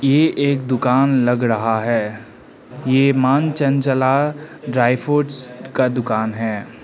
ये एक दुकान लग रहा है ये मां चंचला ड्राई फ्रूट्स का दुकान है।